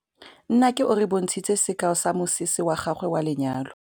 Nnake o re bontshitse sekaô sa mosese wa gagwe wa lenyalo.